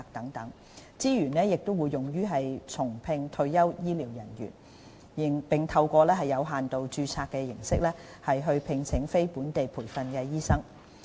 相關資源亦會用於重聘退休醫療人員，並透過有限度註冊形式聘請非本地培訓醫生。